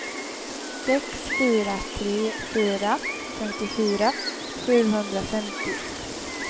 sex fyra tre fyra femtiofyra sjuhundrafemtio